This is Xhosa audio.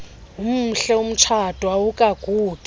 umhle umtsha awukagugi